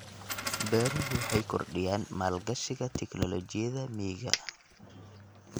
Beeruhu waxay kordhiyaan maalgashiga tignoolajiyada miyiga.